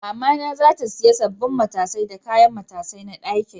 Mama na za ta siya sabbin matasai da kayan matasai na ɗakin.